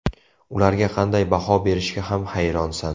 Ularga qanday baho berishga ham hayronsan.